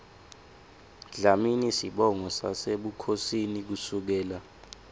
dlamini sibongo sasebukhosini kusukela